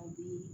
A bɛ